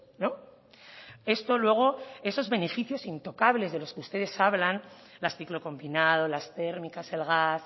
no esto luego esos beneficios intocables de los que ustedes hablan las ciclo combinado las térmicas el gas